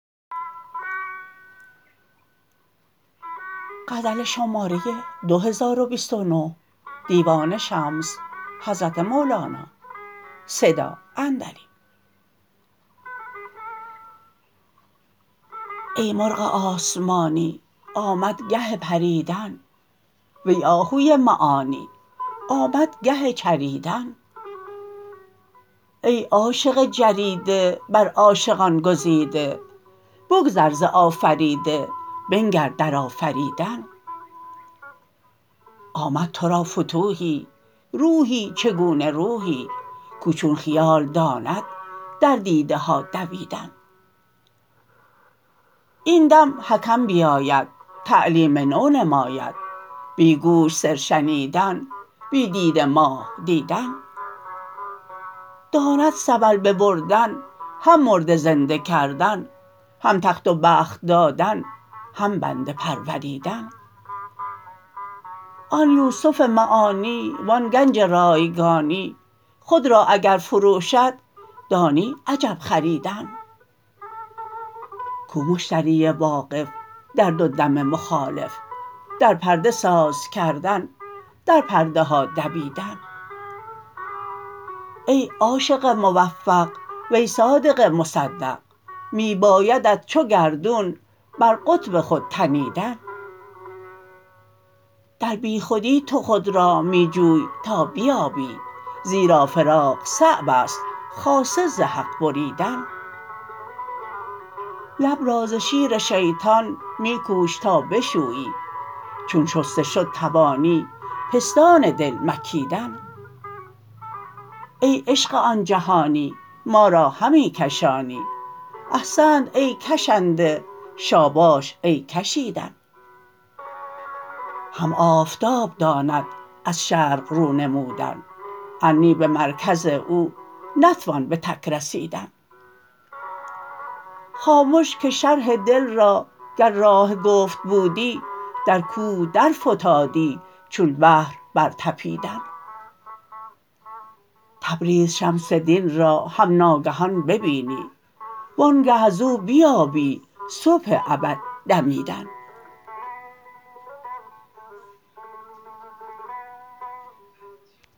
ای مرغ آسمانی آمد گه پریدن وی آهوی معانی آمد گه چریدن ای عاشق جریده بر عاشقان گزیده بگذر ز آفریده بنگر در آفریدن آمد تو را فتوحی روحی چگونه روحی کاو چون خیال داند در دیده ها دویدن این دم حکم بیاید تعلیم نو نماید بی گوش سر شنیدن بی دیده ماه دیدن داند سبل ببردن هم مرده زنده کردن هم تخت و بخت دادن هم بنده پروریدن آن یوسف معانی و آن گنج رایگانی خود را اگر فروشد دانی عجب خریدن کو مشتری واقف در دو دم مخالف در پرده ساز کردن در پرده ها دویدن ای عاشق موفق وی صادق مصدق می بایدت چو گردون بر قطب خود تنیدن در بیخودی تو خود را می جوی تا بیابی زیرا فراق صعب است خاصه ز حق بریدن لب را ز شیر شیطان می کوش تا بشویی چون شسته شد توانی پستان دل مکیدن ای عشق آن جهانی ما را همی کشانی احسنت ای کشنده شاباش ای کشیدن هم آفتاب داند از شرق رو نمودن ار نی به مرکز او نتوان به تک رسیدن خامش که شرح دل را گر راه گفت بودی در کوه درفتادی چون بحر برطپیدن تبریز شمس دین را هم ناگهان ببینی وآنگه از او بیابی صبح ابد دمیدن